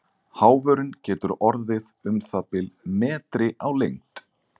Háfurinn getur orðið um það bil metri á lengd.